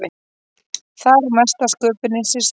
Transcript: Þar á mesta sköpunin sér stað.